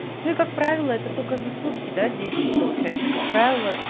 ну как правило это только за сутки до десять да получаешь и как правило